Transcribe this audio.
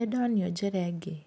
Nĩ ndonio njĩra ĩngĩ.